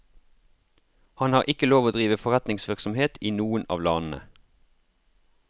Han har ikke lov å drive forretningsvirksomhet i noen av landene.